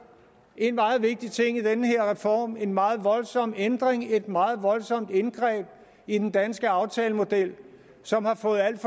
en meget vigtig ting i den her reform en meget voldsom ændring et meget voldsomt indgreb i den danske aftalemodel som har fået alt